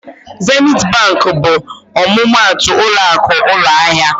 Zenit Bankị bụ ọmụmaatụ ụlọakụ ụlọahịa.